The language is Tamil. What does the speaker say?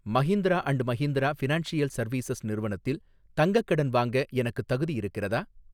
Mahindra and Mahindra financial services நிறுவனத்தில் தங்கக் கடன் வாங்க எனக்குத் தகுதி இருக்கிறதா?